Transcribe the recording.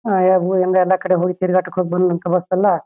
ಹಯಗ್ ತಿರ್ಗಾಟಕ್ ಹೋಗ್ ನಮ್ ಕಬಾಬ್ಸ್ ಎಲ್ಲ--